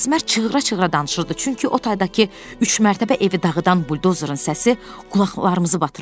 Əsmər çığıra-çığıra danışırdı, çünki o taydakı üçmərtəbə evi dağıdan buldozerin səsi qulaqlarımızı batırırdı.